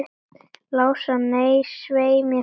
Lása, nei, svei mér þá.